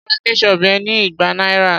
Mo ra ketchup yen ní igba náírà.